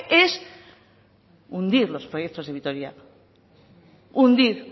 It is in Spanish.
es hundir los proyectos de vitoria hundir